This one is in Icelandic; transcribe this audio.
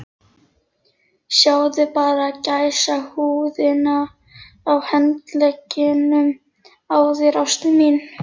Sjáðu bara gæsahúðina á handleggjunum á þér, ástin mín.